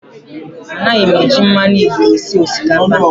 A naghị m eji mmanụ igbo esi osikapa